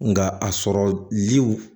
Nka a sɔrɔli